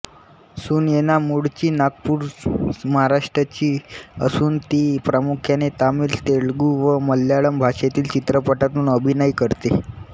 सुनयना मुळची नागपूरमहाराष्ट्र ची असूनती प्रामुख्याने तमिळतेलुगू व मल्याळम भाषेतील चित्रपटातून अभिनय करते